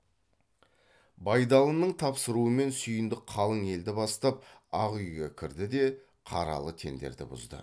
байдалының тапсыруымен сүйіндік қалың елді бастап ақ үйге кірді де қаралы теңдерді бұзды